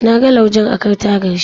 Na ga laujen akan tagar shi.